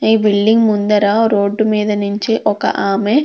ఈ బిల్డింగ్ ముందర రోడ్డు మీద నించి ఒక ఆమె --